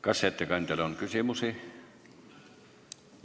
Kas ettekandjale on küsimusi?